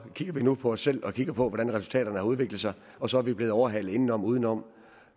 kigger vi nu på os selv og kigger på hvordan resultaterne har udviklet sig og så er vi blevet overhalet indenom og udenom